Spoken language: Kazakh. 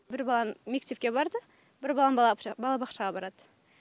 бір балам мектепке барды бір балам балабақшаға барады